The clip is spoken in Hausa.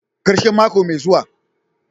karshen mako mai zuwa.